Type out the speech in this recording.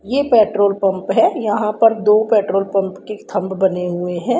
यह petrol pump है यहां पर दो पेट्रोल पंप के थंब बने हुए हैं।